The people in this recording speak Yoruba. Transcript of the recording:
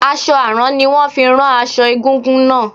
Aṣọ àrán ni wón fi rán aṣọ egúngún náà.